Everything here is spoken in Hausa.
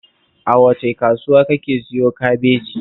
A wace kasuwa kake siyo kabeji?